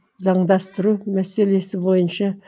заңдастыру мәселесі бойынша